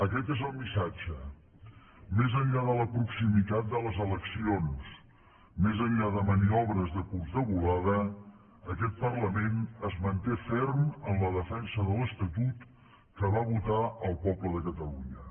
aquest és el missatge més enllà de la proximitat de les eleccions més enllà de maniobres de curta volada aquest parlament es manté ferm en la defensa de l’estatut que va votar el poble de catalunya